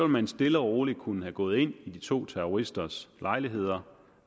man stille og roligt kunne have gået ind i de to terroristers lejligheder